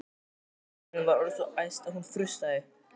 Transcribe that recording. Steinunn var orðin svo æst að hún frussaði.